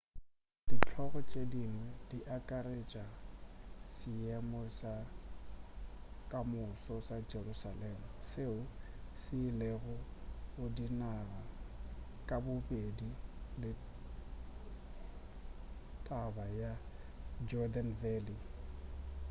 dihlogo tše dingwe di akaretša seemo sa kamoso sa jerusalem seo se ilelago go dinaga kabobedi le taba ya jordan valley